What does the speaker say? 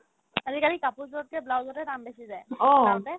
আজিকালি কাপোৰযোৰতকে ব্লাউজতে দাম বেছি যায় চিলাওতে